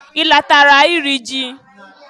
I latara iri ji?